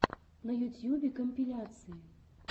на ютьюбе компиляции